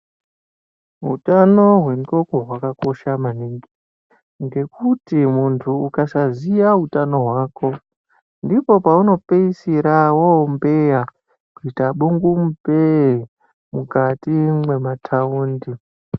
Hutano hwendoko hwakakosha maningi. Ngekuti muntu ukasaziya utano hwako ndipo paunopisira vombeya kuita bungu mupee mukati mwemataundi.